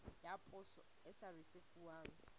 ya poso e sa risefuwang